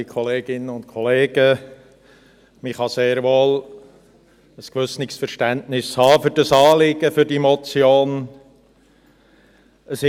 Man kann sehr wohl ein gewisses Verständnis für dieses Anliegen, für diese Motion haben.